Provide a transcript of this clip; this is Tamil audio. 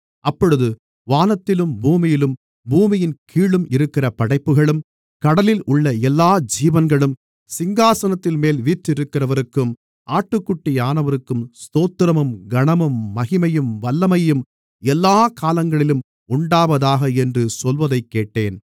அப்பொழுது வானத்திலும் பூமியிலும் பூமியின் கீழும் இருக்கிற படைப்புகளும் கடலில் உள்ள எல்லா ஜீவன்களும் சிங்காசனத்தின்மேல் வீற்றிருக்கிறவருக்கும் ஆட்டுக்குட்டியானவருக்கும் ஸ்தோத்திரமும் கனமும் மகிமையும் வல்லமையும் எல்லாக் காலங்களிலும் உண்டாவதாக என்று சொல்வதைக்கேட்டேன்